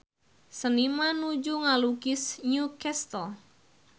Seniman nuju ngalukis New Castle